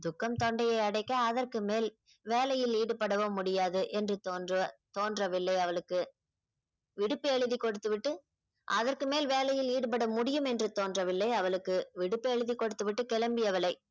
துக்கம் தொண்டையை அடைக்க அதற்கு மேல் வேலையில் ஈடுபடவும் முடியாது என்று தோன்ற தோன்றவில்லை அவளுக்கு விடுப்பு எழுதி கொடுத்துவிட்டு அதற்கு மேல் வேளையில் ஈடுபட முடியும் என்று தோன்றவில்லை அவளுக்கு விடுப்பு எழுதி கொடுத்துவிட்டு கிளம்பி அவளை